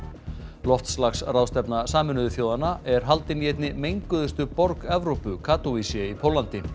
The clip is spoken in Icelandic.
loftslagsráðstefna Sameinuðu þjóðanna er haldin í einni menguðustu borg Evrópu í Póllandi